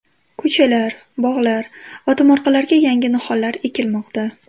Ko‘chalar, bog‘lar va tomorqalarga yangi nihollar ekilmoqda.